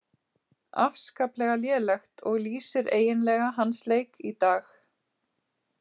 Afskaplega lélegt, og lýsir eiginlega hans leik í dag.